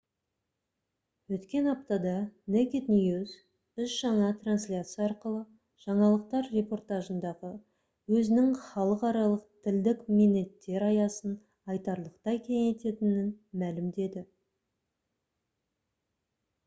өткен аптада naked news үш жаңа трансляция арқылы жаңалықтар репортажындағы өзінің халықаралық тілдік мінеттер аясын айтарлықтай кеңейтетінін мәлімдеді